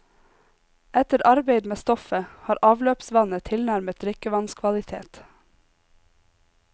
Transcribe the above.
Etter arbeid med stoffet har avløpsvannet tilnærmet drikkevannskvalitet.